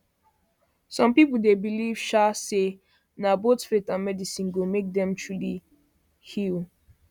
some people dey believe um say na both faith and medicine go make dem truly heal truly heal